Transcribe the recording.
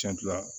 Cɛncɛn